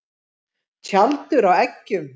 Tjaldur á eggjum.